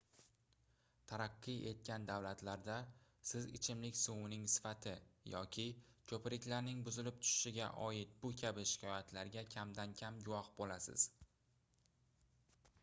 taraqqiy etgan davlatlarda siz ichimlik suvining sifati yoki koʻpriklarning buzilib tushishiga oid bu kabi shikoyatlarga kamdan-kam guvoh boʻlasiz